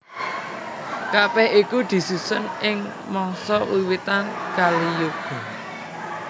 Kabèh iku disusun ing mangsa wiwitan Kaliyuga